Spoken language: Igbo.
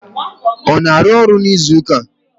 Ọ na-arụ ọrụ n'izuụka a?